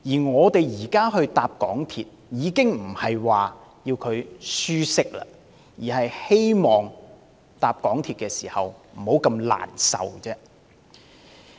我們現時乘搭港鐵已不求舒適，只希望乘車過程不至那麼難受而已。